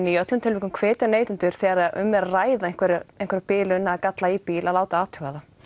í öllum tilvikum hvetja neytendur þegar um er að ræða einhverja einhverja bilun eða galla í bíl að láta athuga það